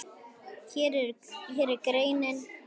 Hér er greinin í heild.